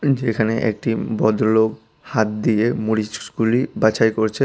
যেখানে একটি ভদ্রলোক হাত দিয়ে মরিচ গুলি বাছাই করছে।